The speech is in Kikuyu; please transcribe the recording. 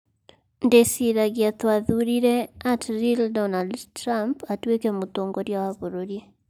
Ndĩciragia twathuurire @realDonaldTrump atuĩke mũtongoria wa bũrũri.